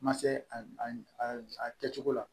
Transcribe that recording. Ma se a kɛcogo la